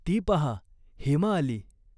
ती पाहा, हेमा आली.